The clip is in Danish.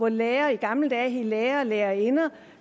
lærere i gamle dage hed lærere og lærerinder